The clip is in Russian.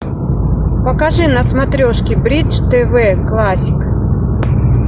покажи на смотрешки бридж тв классик